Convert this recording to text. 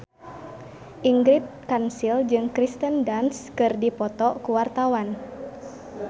Ingrid Kansil jeung Kirsten Dunst keur dipoto ku wartawan